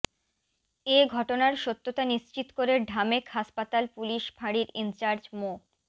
এ ঘটনার সত্যতা নিশ্চিত করে ঢামেক হাসপাতাল পুলিশ ফাঁড়ির ইনচার্জ মো